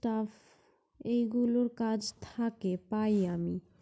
tough এগুলোর কাজ থাকে পাই আমি